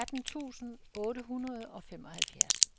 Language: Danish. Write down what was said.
atten tusind otte hundrede og femoghalvfjerds